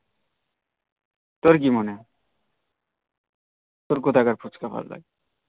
তোর কি মনে হই তোর কথাকার ফুচকা ভাল লাগে